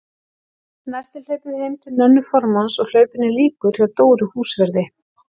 Næst er hlaupið heim til Nönnu formanns og hlaupinu lýkur hjá Dóru húsverði.